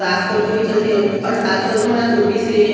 साग सब्जी बेचत हे और साग सब्जी मन ल तोपत हे।